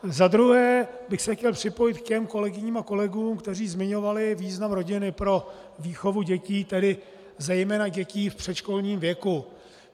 Za druhé bych se chtěl připojit k těm kolegyním a kolegům, kteří zmiňovali význam rodiny pro výchovu dětí, tedy zejména dětí v předškolním věku.